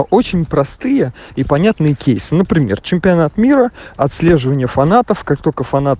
очень простые и понятные кейс например чемпионат мира отслеживание фанатов как только фанат